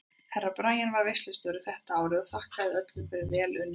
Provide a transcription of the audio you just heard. Herra Brian var veislustjóri þetta árið og þakkaði öllum fyrir vel unnin störf.